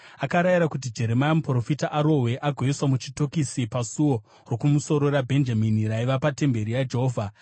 akarayira kuti Jeremia muprofita arohwe agoiswa muchitokisi paSuo Rokumusoro raBhenjamini raiva patemberi yaJehovha.